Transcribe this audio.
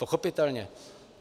Pochopitelně.